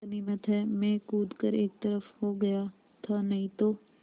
गनीमत है मैं कूद कर एक तरफ़ को हो गया था नहीं तो